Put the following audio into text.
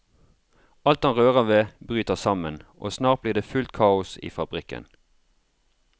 Alt han rører ved bryter sammen, og snart blir det fullt kaos i fabrikken.